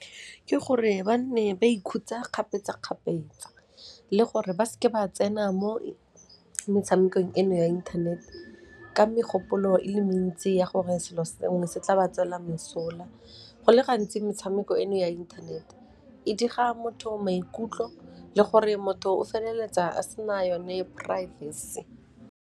Ke gore ba nne ba ikhutsa kgapetsa-kgapetsa le gore ba seke ba tsena mo metshamekong eno ya inthanete ka megopolo e le mentsi ya gore selo sengwe se tla ba tswela mosola, go le gantsi metshameko eno ya internet e dira motho maikutlo le gore motho o feleletsa a sena yone privacy.